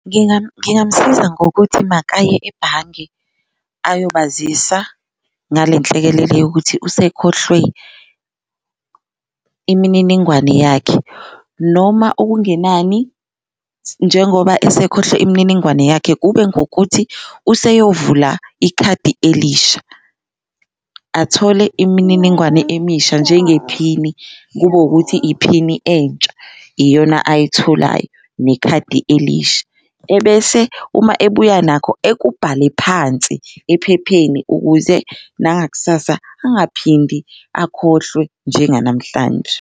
Ngingamsiza ngokuthi makaye ebhange ayobazisa ngale nhlekelele yokuthi usekhohlwe imininingwane yakhe, noma okungenani njengoba esekhohlwe imininingwane yakhe kube ngukuthi useyovula ikhadi elisha. Athole imininingwane emisha njengephini kube wukuthi iphini entsha iyona ayitholayo nekhadi elisha, ebese uma ebuya nakho ekubhale phansi ephepheni ukuze nangakusasa angaphindi akhohlwe njenganamhlanje.